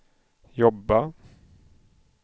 jobba